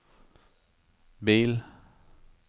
bil